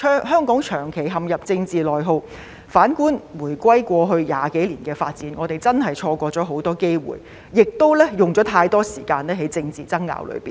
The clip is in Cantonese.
香港長期陷入政治內耗，反觀回歸過去20多年的發展，我們真是錯過了很多機會，也花了太多時間在政治爭拗上。